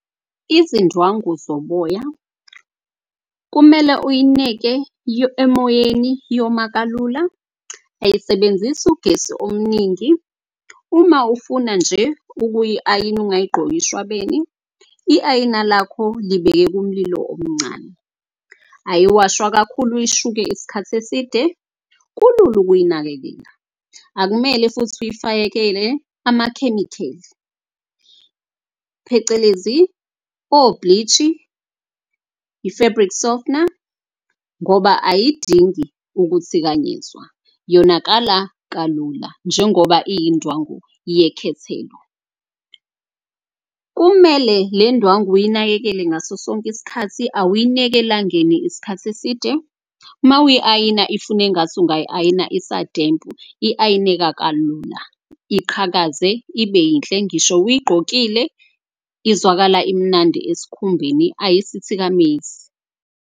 Izindwangu zoboya, kumele uyineke emoyeni, yoma kalula, ayisebenzisi ugesi omningi. Uma ufuna nje ukuyi-ayina ungayigqoki ishwabene, i-ayina lakho libeke kumlilo omncane. Ayiwashwa kakhulu uyishuke isikhathi eside, kulula ukuyinakekela. Akumele futhi uyifakelele amakhemikheli phecelezi o-bleach-i, i-fabric softener ngoba ayidingi ukuthikanyezwa yonakala kalula. Njengoba iyindwangu yekhethelo. Kumele le ndwangu uyinakekele ngaso sonke iskhathi. Awuyineki elangeni iskhathi eside, mawuyi-ayina ifuna engathi ungayi-ayina isadempu. I-ayineka kalula, iqhakaze ibe yinhle ngisho uyigqokile. Izwakala imnandi eskhumbeni ayisithikamezi.